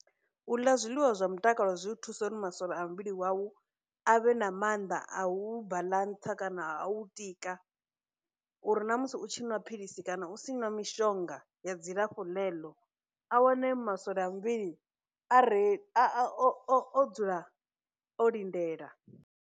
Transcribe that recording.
U ḽa zwiḽiwa zwa mutakalo zwi u thusa uri masole a muvhili wau a vhe na maanḓa a u u baḽantsa kana a u u tika, uri na musi u tshi nwa philisi kana u tshi nwa mishonga ya dzilafho ḽeḽo a wane masole a muvhili a re, a a o o o dzula o lindela.